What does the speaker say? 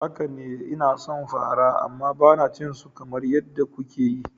Haka ne, ina son fara amma ba na cin su kamar yadda kuke yi.